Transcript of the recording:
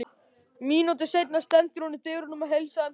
Mínútu seinna stendur hún í dyrunum og heilsar þeim Dodda.